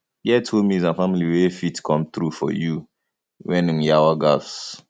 get hommies and family wey fit come through for you when um yawa gas